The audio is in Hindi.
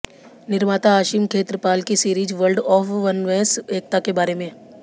निर्माता आशिम खेत्रपाल की सीरीज वल्र्ड ऑफ वननेस एकता के बारे में